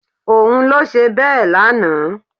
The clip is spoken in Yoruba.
Òun ló ṣe bẹ́ẹ̀ lánàá